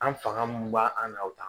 An fanga mun b'an na o ta